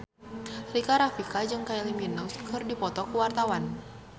Rika Rafika jeung Kylie Minogue keur dipoto ku wartawan